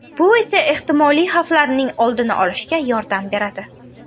Bu esa ehtimoliy xavflarning oldini olishga yordam beradi.